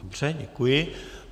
Dobře, děkuji.